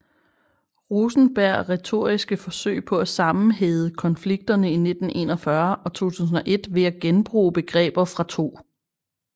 Rosenberg retoriske forsøg på at sammenhæde konflikterne i 1941 og 2001 ved at genbruge begreber fra 2